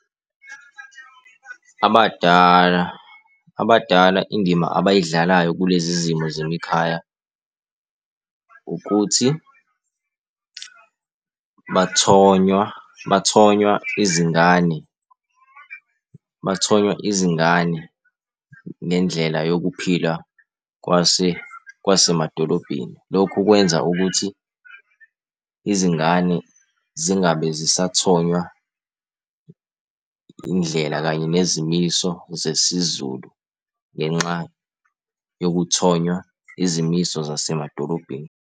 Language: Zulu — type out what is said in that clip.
Abadala, abadala indima abayidlalayo kulezi zimo zemikhaya ukuthi bathonywa, bathonywa izingane, bathonywa izingane ngendlela yokuphila kwasemadolobheni. Lokhu kwenza ukuthi izingane zingabe zisathonywa indlela kanye nezimiso zesiZulu ngenxa yokuthonywa izimiso zasemadolobheni.